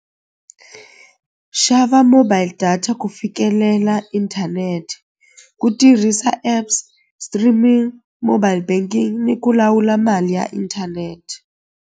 Xava mobile data ku fikelela inthanete ku tirhisa apps streaming mobile banking ni ku lawula mali ya inthanete.